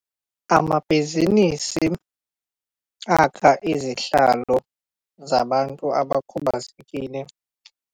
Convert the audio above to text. Amabhizinisi akha izihlalo zabantu abakhubazekile.